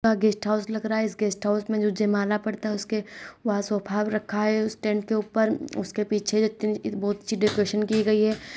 यह guest house लग रहा है इस गेस्ट हॉउस में जो जायमाला पड़ता है उसके वहाँ सोफा भी रखा है उस टेंट के ऊपर उसके पीछे बहुत अच्छी डेकोरेशन की गई है।